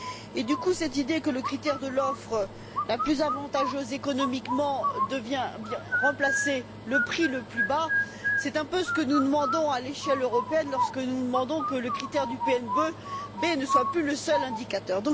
Par conséquent, cette idée que le critère de l'offre la plus avantageuse économiquement vienne remplacer le prix le plus bas, c'est un peu ce que nous demandons à l'échelle européenne lorsque nous exigeons que le critère du PNB ne soit plus le seul indicateur.